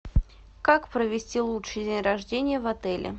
как провести лучший день рождения в отеле